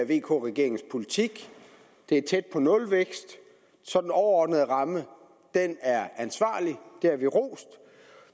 vk regeringens politik det er tæt på nulvækst så den overordnede ramme er ansvarlig det har vi rost